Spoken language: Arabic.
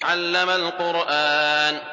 عَلَّمَ الْقُرْآنَ